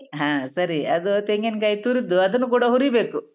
ಹಾ ಸರಿ, ಅದು ತೆಂಗಿನ್ಕಾಯ್ ತುರ್ದು ಅದನ್ನ ಕೂಡ ಹುರಿಬೇಕು.